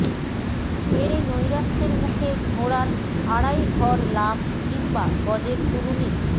মেরে নৈরাশ্যের মুখে ঘোড়ার আড়াই ঘর লাফ কিংবা গজের দুলুনি